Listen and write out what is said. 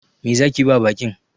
Me zaki ba baƙin?